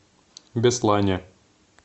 беслане